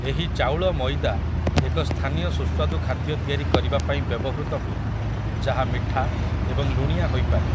ଏହି ଚାଉଳ ମଇଦା ଏକ ସ୍ଥାନୀୟ ସୁସ୍ୱାଦୁ ଖାଦ୍ୟ ତିଆରି କରିବା ପାଇଁ ବ୍ୟବହୃତ ହୁଏ ଯାହା ମିଠା ଏବଂ ଲୁଣିଆ ହୋଇପାରେ ।